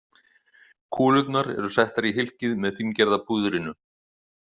Kúlurnar eru settar í hylkið með fíngerða púðrinu.